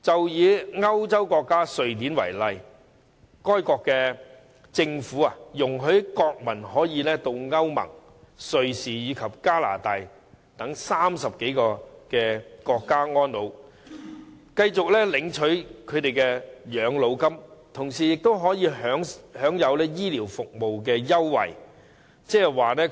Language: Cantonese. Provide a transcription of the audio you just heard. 以歐洲國家瑞典為例，該國政府容許國民可以到歐洲聯盟、瑞士及加拿大等30多個國家安老，繼續領取他們的養老金，同時可以享有醫療服務優惠。